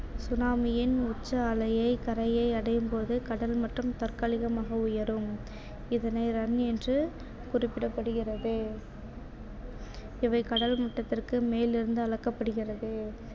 tsunami யின் உச்ச அலையை கரையை அடையும் போது கடல் மட்டம் தற்காலிகமாக உயரும் இதனை run என்று குறிப்பிடப்படுகிறது இவை கடல்மூட்டத்திற்கு மேலிருந்து அளக்கப்படுகிறது